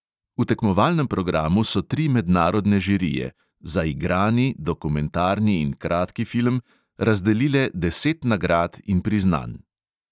V tekmovalnem programu so tri mednarodne žirije – za igrani, dokumentarni in kratki film – razdelile deset nagrad in priznanj.